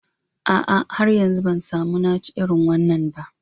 A'a, har yanzu ban samu na ci irin wannan ba